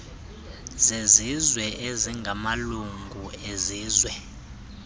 zezizwe ezingamalungu ezizwe